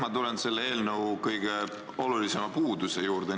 Ma tulen selle eelnõu kõige olulisema puuduse juurde.